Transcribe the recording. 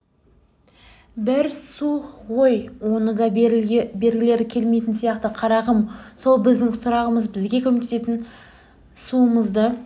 бір су ғой соны да бергілері келмейтін сияқты қарағым сол біздің сұрағымыз бізге көмектессін суымызды